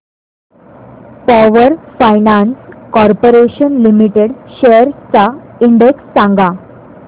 power finance corporation limited shares चा index सांगा